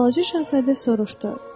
deyə Balaca Şahzadə soruşdu.